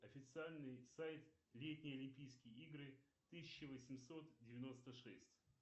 официальный сайт летние олимпийские игры тысяча восемьсот девяносто шесть